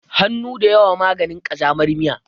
Hannu da yawa maganin ƙazamar miya.